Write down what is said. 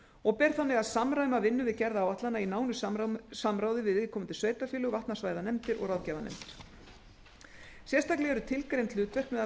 og ber þannig að samræma vinnu við gerð áætlana í samráði við viðkomandi sveitarfélög vatnasvæðanefndir og ráðgjafarnefndir sérstaklega eru skilgreint hlutverk meðal